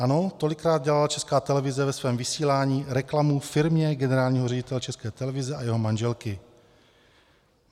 Ano, tolikrát dělala Česká televize ve svém vysílání reklamu firmě generálního ředitele České televize a jeho manželky.